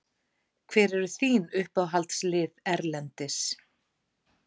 Hver eru þín uppáhaldslið erlendis?